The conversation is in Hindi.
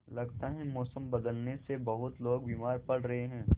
लगता है मौसम बदलने से बहुत लोग बीमार पड़ रहे हैं